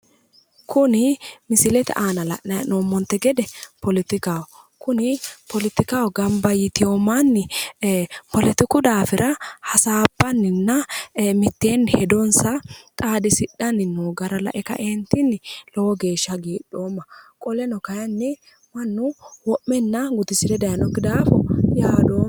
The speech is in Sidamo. Kuni misilete aana la'nayi hee'noommonte gede poletikaho. Kuni politikaho gamba yitino manni poletiku daafira hasaabbanninna mitteenni hedonsa xaadisidhanni noo gara lae kaeentinni lowo geeshsha hagiidhoomma. Qoleno kayinni mannu wo'menna gudisire dayinokki daafo yaadoomma.